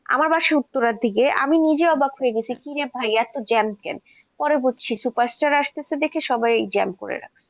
আমার বাসা উত্তরার দিকে আমি নিজে অবাক হয়ে গেছি, কিরে ভাই এত gym কেন? পরে বুঝছি superstar আসছে দেখে সবাই gym করে রাখছে।